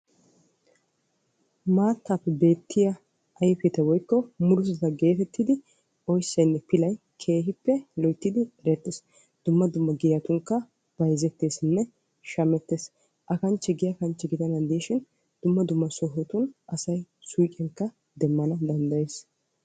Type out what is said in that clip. maattappe beettiya ayfetta woykko murutatta getettidi oyssanne pilay keehippe loyttidi erettees. dumma dumma giyatunkka bayzzetteesinne shammettees. a kanchche giya kanchche gidennan de'ishin dumma dumma sohotun asay suyqqiyankka demmana danddayees.